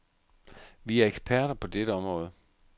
Vi er eksperter på dette område.